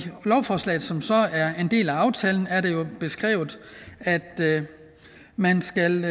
lovforslaget som så er en del af aftalen er det jo beskrevet at man skal